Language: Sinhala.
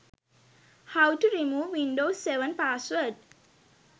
how to remove windows 7 password